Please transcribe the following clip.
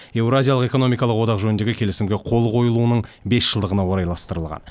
еуразиялық экономикалық одақ жөніндегі келісімге қол қойылуының бес жылдығына орайластырылған